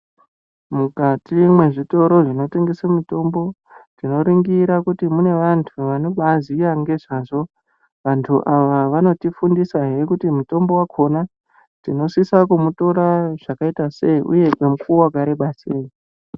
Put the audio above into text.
Mukati mwezvitoro zvinotengese mitombo tinoringira kuti mune vantu vanobaziya ngezvazvo vantu ava vanotifundisahe kuti mutombo wakona tinosisa kumutora zvakaita sei uye ngemukuwo wakareba sei.